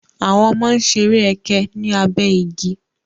Àwọn ọmọ ń ṣeré ẹkẹ ní abé igi.